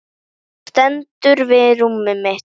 Hann stendur við rúmið mitt.